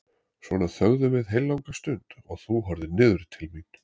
Svona þögðum við heillanga stund og þú horfðir niður til mín.